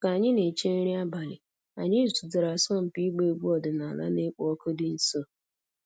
Ka anyị na-eche nri abalị, anyị zutere asọmpi ịgba egwu ọdịnala na-ekpo ọkụ dị nso.